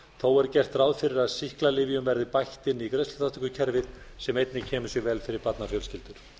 er gert ráð fyrir að sýklalyfjum verði bætt inn í greiðsluþátttökukerfið sem einnig kemur sér vel fyrir barnafjölskyldur